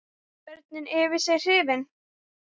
Börnin yfir sig hrifin.